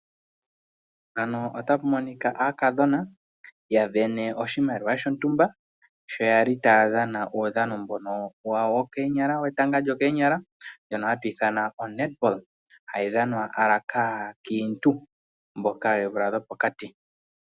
Mpano otapu monika aakadhona yavene oshimaliwa shitumba shoyali taya dhana uudhano mbono wawo wokoonyala wetanga lyookoonyala mbono hatu ithana o netball hawu dhanwa kaankiintu mboka weemvula dhopokati.